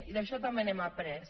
i d’això també n’hem après